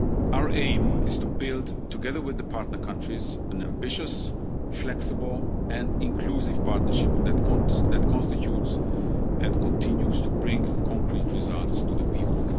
this afternoon. Our aim is to build, together with the partner countries, an ambitious, flexible and inclusive partnership that constitutes and continues to bring concrete results